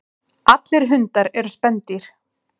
Allir hundar eru spendýr.